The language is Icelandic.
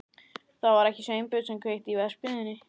Það var ekki Sveinbjörn sem kveikti í verksmiðjunni.